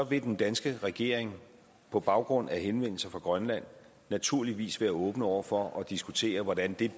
vil den danske regering på baggrund af henvendelser fra grønland naturligvis være åben over for at diskutere den del